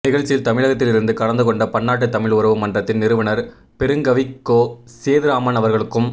நிகழ்ச்சியில் தமிழகத்தில் இருந்து கலந்து கொண்ட பன்னாட்டு தமிழ் உறவு மன்றத்தின் நிறுவனர் பெருங்கவிக்கோ சேதுராமன் அவர்களுக்கும்